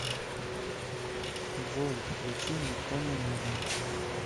джой включи никто не нужен